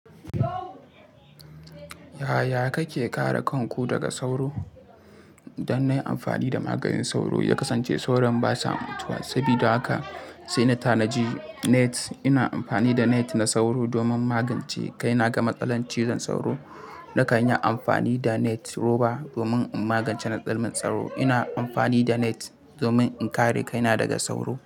Yaya kake kare kanku daga sauro? Don na yi amfani da maganin sauro, ya kasance sauran basa mutuwa. Sabida haka sai na tanaji net. Ina amfani da net na sauro domin magance kai na ga matsalar cizon sauro. Na kan yi amfani da net roba domin in magance matsalar sauro. Ina amfani da net domin in kare kaina daga sauro.